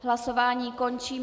Hlasování končím.